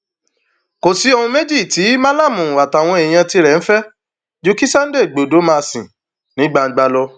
kò sí ohun méjì tí malami àtàwọn èèyàn tirẹ ń fẹ ju kí sunday igbodò má sì ní gbangba lọ